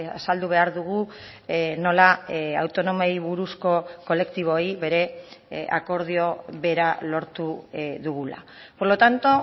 azaldu behar dugu nola autonomoei buruzko kolektiboei bere akordio bera lortu dugula por lo tanto